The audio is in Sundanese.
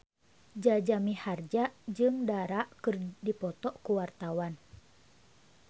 Jaja Mihardja jeung Dara keur dipoto ku wartawan